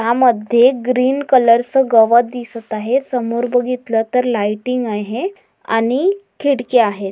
यामध्ये ग्रीन कलरच गवत दिसत आहे समोर बघितल तर लायटिंग आहे आणि खिडक्या आहेत.